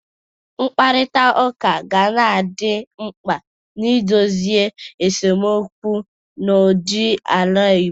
Mkparịta ụka ga na-adị mkpa n'idozi esemokwu n'udo n'ala Igbo.